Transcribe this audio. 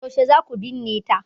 Yaushe za ku binne ta?